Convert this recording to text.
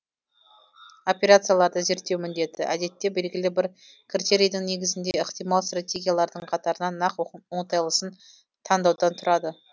операцияларды зерттеу міндеті әдетте белгілі бір критерийдің негізінде ықтимал стратегиялардың қатарынан нақ оңтайлысын тандаудан тұрады